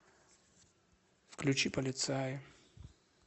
включи полицаи